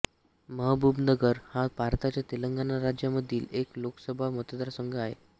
महबूबनगर हा भारताच्या तेलंगणा राज्यामधील एक लोकसभा मतदारसंघ आहे